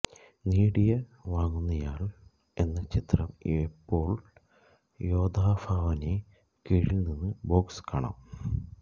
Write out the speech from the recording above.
നേടിയ വാങ്ങുന്നയാൾ എന്ന ചിത്രം എപ്പോഴും യൊതഫൊനെ കീഴിൽനിന്നു ബോക്സ് കാണാം